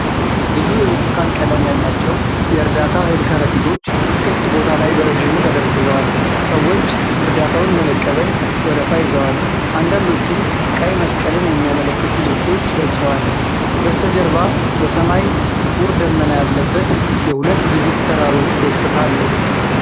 ብዙ የብርቱካን ቀለም ያላቸው የእርዳታ እህል ከረጢቶች፣ ክፍት ቦታ ላይ በረዥሙ ተደርድረዋል። ሰዎች እርዳታውን ለመቀበል ወረፋ ይዘዋል፤ አንዳንዶቹም ቀይ መስቀልን የሚያመለክቱ ልብሶች ለብሰዋል። በስተጀርባ በሰማይ ጥቁር ደመና ያለበት፣ የሁለት ግዙፍ ተራሮች ገጽታ አለው።